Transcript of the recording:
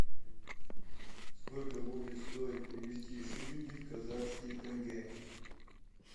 сколько будет стоить перевести шиллинги в казахские тенге